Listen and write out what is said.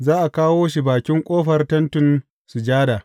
Za a kawo shi a bakin ƙofar Tentin Sujada.